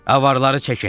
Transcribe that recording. Avarları çəkin.